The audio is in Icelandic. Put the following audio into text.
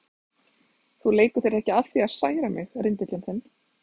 Þú leikur þér ekki að því að særa mig, rindillinn þinn.